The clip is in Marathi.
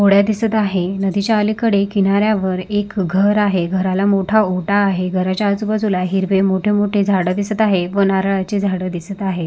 होड्या दिसत आहे नदीच्या अलीकडे किनाऱ्यावर एक घर आहे घराला मोठा ओढा आहे घराच्या आजूबाजूला मोठे मोठे झाडं दिसत आहे नारळाची झाडं दिसत आहे.